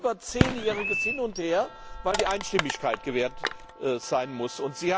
Das war ein über zehnjähriges Hin und Her, weil die Einstimmigkeit gewahrt sein musste.